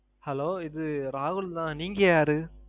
Hello இது ராகுல் தான். நீங்க யாரு?